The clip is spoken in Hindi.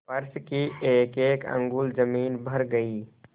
फर्श की एकएक अंगुल जमीन भर गयी